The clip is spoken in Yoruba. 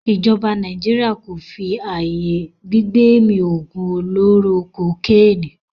ijoba Naijiria ko fí ayé gbigbemi ogun oloro kokeni.